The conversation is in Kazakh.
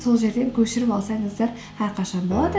сол жерден көшіріп алсаңыздар әрқашан болады